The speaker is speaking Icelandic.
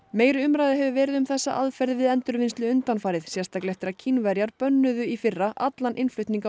meiri umræða hefur verið um þessa aðferð við endurvinnslu undanfarið sérstaklega eftir að Kínverjar bönnuðu í fyrra allan innflutning á